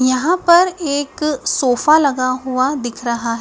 यहां पर एक सोफा लगा हुआ दिख रहा--